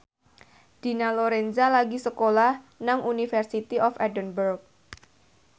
Dina Lorenza lagi sekolah nang University of Edinburgh